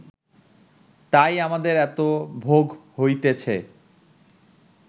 তাই আমাদের এত ভোগ হইতেছে